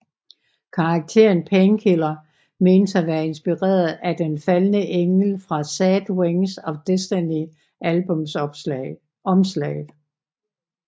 Karakteren Painkiller menes at være inspireret af den faldne engel fra Sad Wings of Destiny albumsomslaget